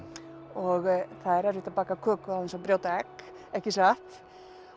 og það er erfitt að baka köku án þess að brjóta egg ekki satt